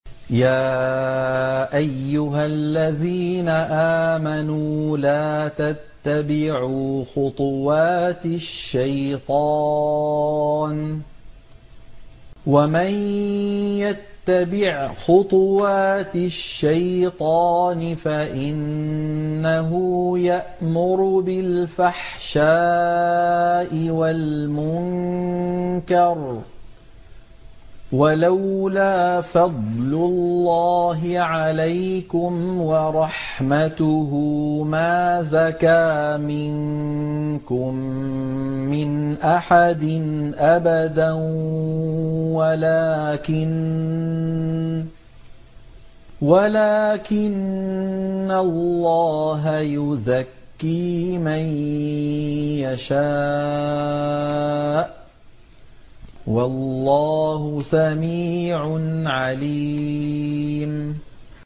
۞ يَا أَيُّهَا الَّذِينَ آمَنُوا لَا تَتَّبِعُوا خُطُوَاتِ الشَّيْطَانِ ۚ وَمَن يَتَّبِعْ خُطُوَاتِ الشَّيْطَانِ فَإِنَّهُ يَأْمُرُ بِالْفَحْشَاءِ وَالْمُنكَرِ ۚ وَلَوْلَا فَضْلُ اللَّهِ عَلَيْكُمْ وَرَحْمَتُهُ مَا زَكَىٰ مِنكُم مِّنْ أَحَدٍ أَبَدًا وَلَٰكِنَّ اللَّهَ يُزَكِّي مَن يَشَاءُ ۗ وَاللَّهُ سَمِيعٌ عَلِيمٌ